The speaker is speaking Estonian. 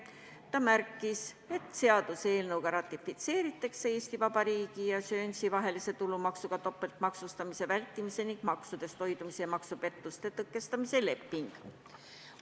Ta märkis, et seaduseelnõuga ratifitseeritakse Eesti Vabariigi ja Guernsey vahelise tulumaksudega topeltmaksustamise vältimise ning maksudest hoidumise ja maksupettuste tõkestamise leping.